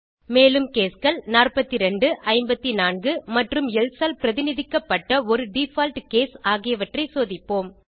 மேலும் caseகள் 42 54 மற்றும் எல்சே ஆல் பிரதிநிதிக்கப்பட்ட ஒரு டிஃபால்ட் கேஸ் ஆகியவற்றை சோதிப்போம்